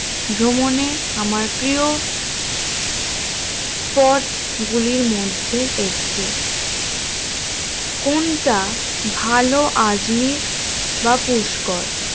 ভ্রমণে আমার প্রিয় spot গুলির মধ্যে একটি কোনটা ভালো আজমির বা পুষ্কর